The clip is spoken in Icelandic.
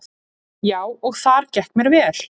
Já, og þar gekk mér vel.